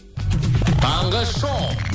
таңғы шоу